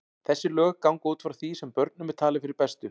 Þessi lög ganga út frá því sem börnum er talið fyrir bestu.